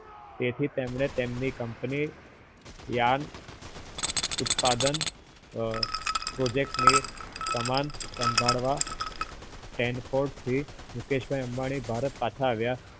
ત્યાંથી તેમને એમની company yan ઉત્પાદન project ને કમાન સંભાળવા Stanford થી મુકેશભાઈ અંબાણી ભારત પાછા આવ્યા